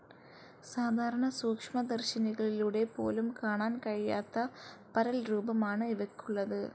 സാധാരണ സൂക്ഷ്മദർശിനികളിലൂടെ പോലും കാണാൻ കഴിയാത്ത പരൽരൂപമാണ് ഇവയ്ക്കുള്ളത്.